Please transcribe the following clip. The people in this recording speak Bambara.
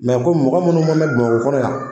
Mɛ komi mɔgɔ munnu mɛna bamakɔ kɔnɔ yan